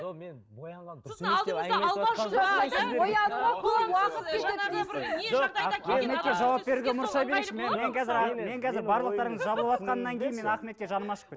мен боянған мен қазір барлықтарыңыз жабылыватқаннан кейін мен ахметке жаным ашып